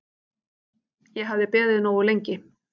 Ég hafði beðið nógu lengi.